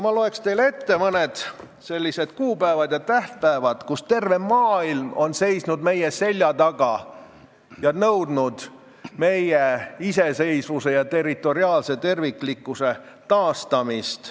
Ma loen teile ette mõned korrad, kui terve maailm seisis meie selja taga ja nõudis meie iseseisvuse ja territoriaalse terviklikkuse taastamist.